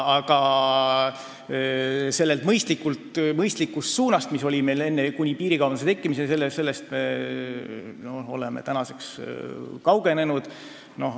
Sellest mõistlikust suunast, mis oli meil enne piirikaubanduse tekkimist, oleme tänaseks kaugenenud.